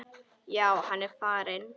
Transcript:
Já, hann er farinn